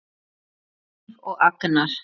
Hlíf og Agnar.